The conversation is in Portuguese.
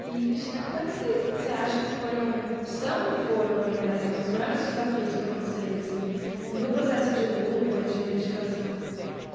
E, Cristina, quais vocês acham que foram, são e foram, na verdade, os maiores desafios para vocês, assim, no processo de luta e de reivindicação?